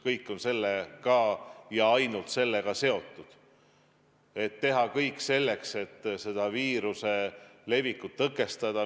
Kõik on sellega ja ainult sellega seotud, et teha kõik selleks, et viiruse levikut tõkestada.